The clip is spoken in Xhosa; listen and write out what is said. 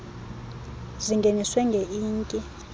zingeniswe nge inki